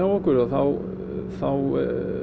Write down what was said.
okkur þá þá